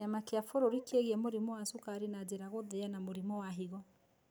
Kĩama kĩa kĩbũrũri kĩgie mũrimũ wa cukari na njĩra gũthĩa na mũrimũ wa higo.